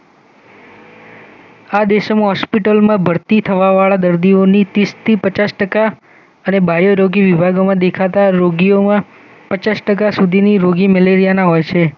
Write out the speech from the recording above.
આ દેશોમાં હોસ્પિટલમાં ભરતી થવા વાળા દર્દીઓની તીસથી પચાસ ટકા અને બાયોરોગી વિભાગોમાં દેખાતા રોગિયોમાં પચાસટકા સુધીની રોગી મલેરિયાના હોય છે